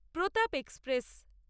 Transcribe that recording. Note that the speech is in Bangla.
প্রতাপ এক্সপ্রেস